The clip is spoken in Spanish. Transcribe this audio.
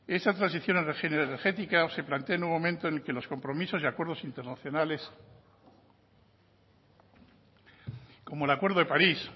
esa transición energética se plantea en un momento en el que los compromisos y acuerdos internacionales como el acuerdo de parís